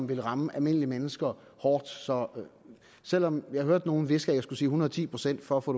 vil ramme almindelige mennesker hårdt så selv om jeg hørte nogen hviske at jeg skulle sige en hundrede og ti procent for at få